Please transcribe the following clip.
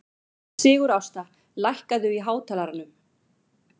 Sigurásta, lækkaðu í hátalaranum.